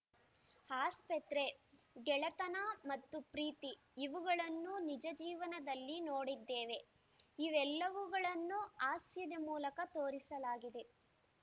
ಆಸ್ಪತ್ರೆ ಗೆಳತನ ಮತ್ತು ಪ್ರೀತಿ ಇವುಗಳನ್ನು ನಿಜ ಜೀವನದಲ್ಲಿ ನೋಡಿದ್ದೇವೆ ಇವೆಲ್ಲವುಗಳನ್ನು ಹಾಸ್ಯದ ಮೂಲಕ ತೋರಿಸಲಾಗಿದೆ